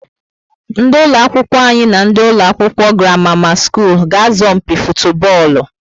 Ndị ụlọ akwụkwọ anyi na ndị ụlọ akwụkwọ Gramama school ga azo mpi futubolu